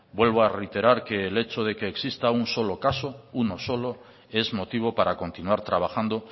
vuelvo a reiterar que el hecho de que exista un solo caso uno solo es motivo para continuar trabajando